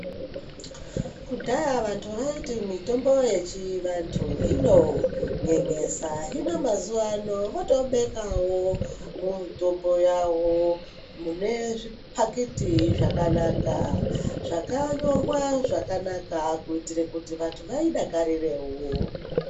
Kudhaya vantu vaiti mutombo wechiantu unonyenyesa hino mazuva ano yotobekawo mitombo yavo munezvipaliti zvakanaka zvakanyorwa zvakanaka kuitire kuti vantu vayidaka rirewo.